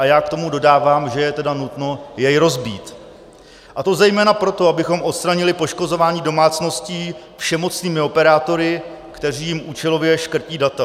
A já k tomu dodávám, že je tedy nutno jej rozbít, a to zejména proto, abychom odstranili poškozování domácností všemocnými operátory, kteří jim účelově škrtí data.